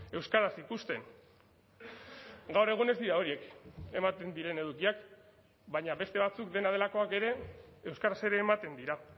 euskaraz ikusten gaur egun ez dira horiek ematen diren edukiak baina beste batzuk dena delakoak ere euskaraz ere ematen dira